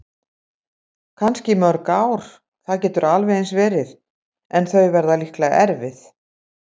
Kannski í mörg ár, það getur alveg eins verið- en þau verða líklega erfið.